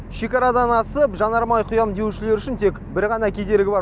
шекарадан асып жанармай құям деушілер үшін тек бір ғана кедергі бар